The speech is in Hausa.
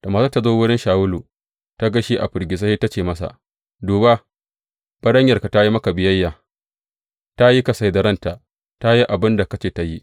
Da matar ta zo wurin Shawulu, ta ga shi a firgice, sai ta ce masa, Duba baranyarka ta yi maka biyayya ta yi kasai da ranta, ta yi abin da ka ce ta yi.